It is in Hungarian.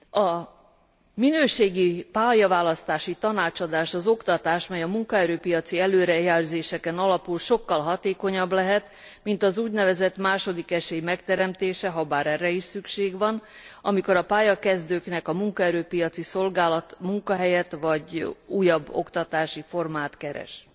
A minőségi pályaválasztási tanácsadás, az oktatás, mely a munkaerő piaci előrejelzéseken alapul sokkal hatékonyabb lehet, mint az úgynevezett második esély megteremtése, habár erre is szükség van, amikor a pályakezdőknek a munkaerő piaci szolgálat munkahelyet vagy újabb oktatási formát keres.